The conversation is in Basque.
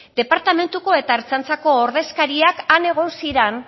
departamentuko eta ertzaintzako ordezkariak han egon ziren